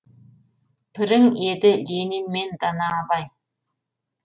пірің еді ленин мен дана абай